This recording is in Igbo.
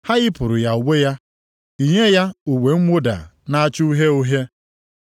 Ha yipụrụ ya uwe ya, yinye ya uwe mwụda na-acha uhie uhie.